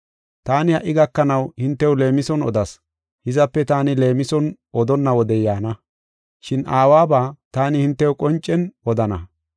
“Taani ha77i gakanaw hintew leemison odas, hizape taani leemison odonna wodey yaana. Shin Aawaba taani hintew qoncen odana.